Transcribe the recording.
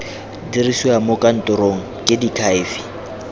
dirisiwa mo kantorong ke diakhaefe